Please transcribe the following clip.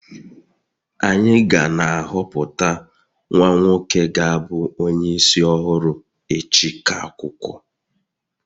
anyị ga na-ahọpụta nwa nwoke ga-abu onye isi ọhụrụ echi ka akwụkwọ